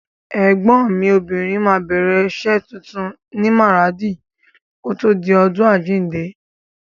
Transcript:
Ẹ̀gbọ́n mi obìnrin á bẹ̀rẹ̀ rẹ̀ iṣẹ́ tuntun ní Maradi kòtò di ọdún àjíǹde.